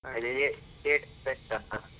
.